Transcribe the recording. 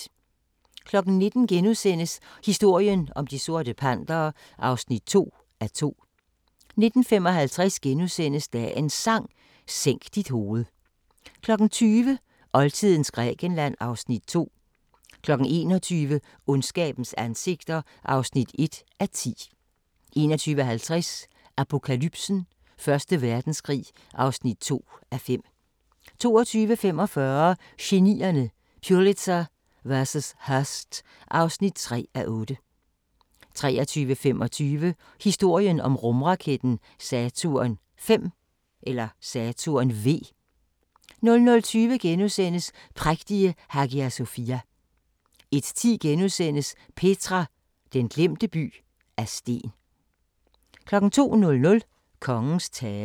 19:00: Historien om De Sorte Pantere (2:2)* 19:55: Dagens Sang: Sænk dit hoved * 20:00: Oldtidens Grækenland (Afs. 2) 21:00: Ondskabens ansigter (1:10) 21:50: Apokalypsen: Første Verdenskrig (2:5) 22:45: Genierne: Pulitzer vs. Hearst (3:8) 23:25: Historien om rumraketten Saturn V 00:20: Prægtige Hagia Sofia * 01:10: Petra – den glemte by af sten * 02:00: Kongens tale